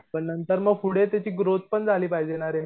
तर नंतर मग पुढे त्याची ग्रोथ पण झाली पाहिजे ना रे